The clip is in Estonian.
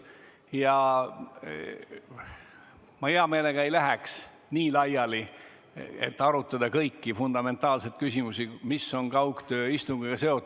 Ja ma hea meelega ei läheks aruteluga nii laiali, et me arutaks kõiki fundamentaalseid küsimusi, mis on kaugtööistungiga seotud.